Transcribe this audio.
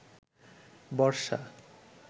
বর্ষা